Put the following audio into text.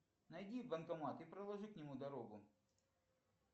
найди банкомат и проложи к нему дорогу